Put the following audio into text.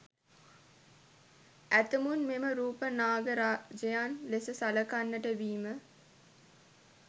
ඇතමුන් මෙම රූප නාග රාජයන් ලෙස සළකන්නට වීම